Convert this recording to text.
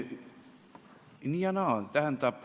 Nii ja naa.